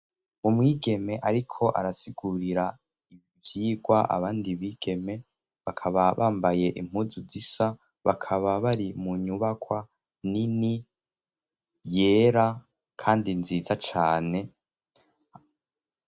Umwigeme ariko arasigurira ibivyigwa abandi bigeme. Bakaba bambaye impuzu zisa bakaba bari mu nyubakwa nini yera kandi nziza cane.